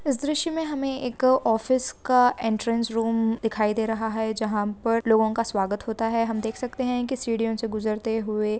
इस दृश्य मैं हमें एक ऑफिस का एन्ट्रन्स रूम दिखाई दे रहा है जहाँ पर लोगो का स्वागत होता है हम देख सकते है सीढ़ियों से गुजरते हुवे।